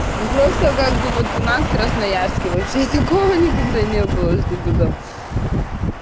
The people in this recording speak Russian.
ну просто как бы вот у нас красноярске вообще такого никогда не было чтобы там